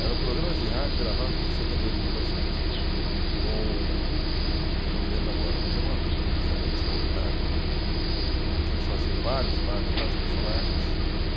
Eram programas de rádio gravados nos discos de setenta e oito Rotações, com... não me lembro agora, mas era uma dupla do Rio de Janeiro extraordinária, em que eles faziam vários e vários e vários personagens.